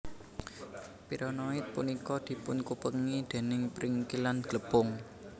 Pirenoid punika dipunkupengi dèning pringkilan glepung